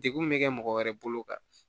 Degun bɛ kɛ mɔgɔ wɛrɛ bolo kan